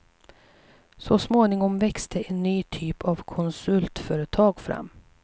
Så småningom växte en ny typ av konsultföretag fram.